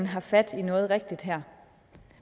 har fat i noget rigtigt